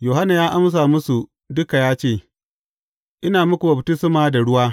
Yohanna ya amsa musu duka ya ce, Ina muku baftisma da ruwa.